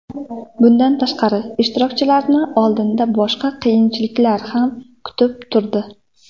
Bundan tashqari ishtirokchilarni oldinda boshqa qiyinchiliklar ham kutib turdi.